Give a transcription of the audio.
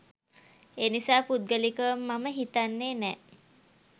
එනිසා පුද්ගලිකව මම හිතන්නේ නෑ